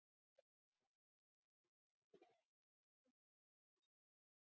spurði hún og strauk með lófa yfir blágresi og sóleyjar.